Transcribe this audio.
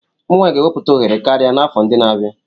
Ụmụ nwanyị ga-ewepụta ohere karịa n'afọ ndị na-abịa.